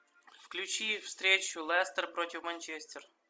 включи встречу лестер против манчестер